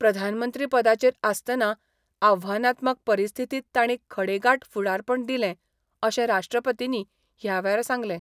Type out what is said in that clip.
प्रधानमंत्री पदाचेर आसतना आव्हानात्मक परिस्थितींत तांणी खडेगांठ फुडारपण दिलें अशें राष्ट्रपतींनी ह्या वेळार सांगलें.